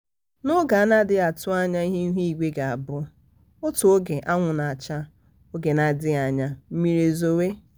n'oge a anaghị atụ anya ihe ihu igwe ga-abụ. otu oge anwụ na-acha n'oge n'adịghị anya mmiri e zowe.